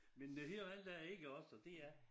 Men det helt andet er iggås og det er